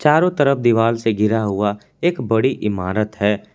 चारों तरफ दीवाल से घिरा हुआ एक बड़ी इमारत है।